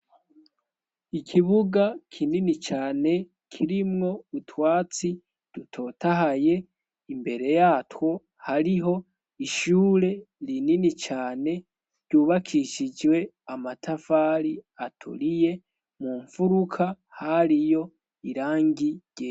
Ikibuga kinini cane kirimwo utwatsi rutotahaye imbere yatwo hariho ishure rinini cane ryubakishijwe amatafari atoriye mu mfuruka hariyo irangije.